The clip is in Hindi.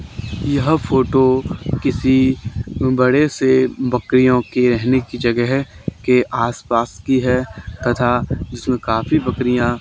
यह फोटो किसी बड़े से बकरियों के रहने की जगह है के आसपास की जगह की है तथा इसमें काफी बकरिया --